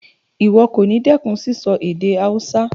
Ìwo kòní dẹ́kun síso èdè Hausa